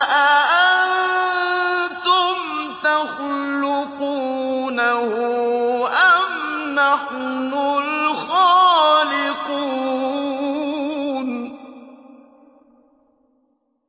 أَأَنتُمْ تَخْلُقُونَهُ أَمْ نَحْنُ الْخَالِقُونَ